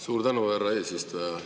Suur tänu, härra eesistuja!